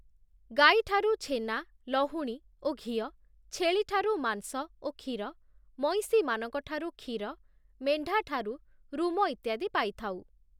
ଗାଈ ଠାରୁ ଛେନା, ଲହୁଣୀ ଓ ଘିଅ, ଛେଳିଠାରୁ ମାଂସ ଓ କ୍ଷୀର, ମଇଁଷିମାନଙ୍କଠାରୁ କ୍ଷୀର, ମେଣ୍ଢା ଠାରୁ ରୁମ ଇତ୍ୟାଦି ପାଇଥାଉ ।